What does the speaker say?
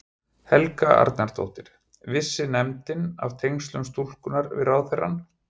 Helga Arnardóttir: Vissi nefndin af tengslum stúlkunnar við ráðherrann?